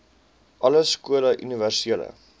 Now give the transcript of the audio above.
alle skole universele